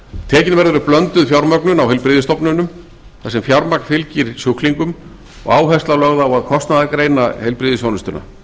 tekin verður upp blönduð fjármögnun á heilbrigðisstofnunum þar sem fjármagn fylgir sjúklingum og áhersla lögð á að kostnaðargreina heilbrigðisþjónustuna